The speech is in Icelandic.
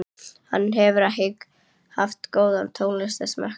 Hann hefur ekki haft góðan tónlistarsmekk